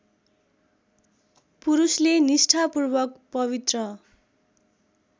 पुरुषले निष्ठापूर्वक पवित्र